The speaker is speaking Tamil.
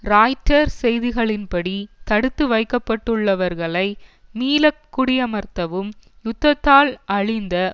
ராய்ட்டர் செய்திகளின் படி தடுத்து வைக்கப்பட்டுள்ளவர்களை மீள குடியமர்த்தவும் யுத்தத்தால் அழிந்த